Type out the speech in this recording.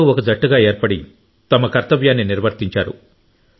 అందరూ ఒక జట్టుగా ఏర్పడి తమ కర్తవ్యాన్ని నిర్వర్తించారు